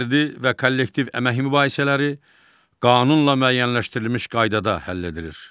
Fərdi və kollektiv əmək mübahisələri qanunla müəyyənləşdirilmiş qaydada həll edilir.